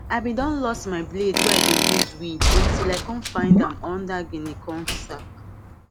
i been don loss my blade wey i dey use weed until i come find am under guinea corn sack